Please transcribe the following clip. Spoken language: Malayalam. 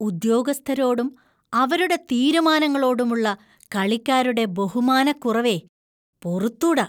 ഉദ്യോഗസ്ഥരോടും, അവരുടെ തീരുമാനങ്ങളോടുമുള്ള കളിക്കാരുടെ ബഹുമാനക്കുറവേ, പൊറുത്തൂട.